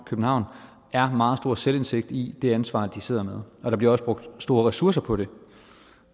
københavn er meget stor selvindsigt i det ansvar de sidder med og der bliver også brugt store ressourcer på det